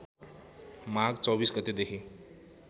माघ २४ गतेदेखि